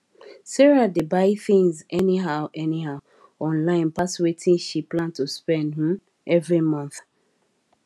sarah dey buy things anyhow anyhow online pass wetin she plan to spend um every month